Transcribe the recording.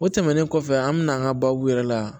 O tɛmɛnen kɔfɛ an mɛna an ka baabu yɛrɛ la